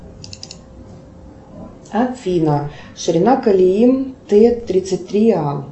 афина ширина колеи т тридцать три а